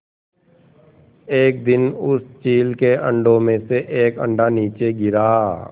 एक दिन उस चील के अंडों में से एक अंडा नीचे गिरा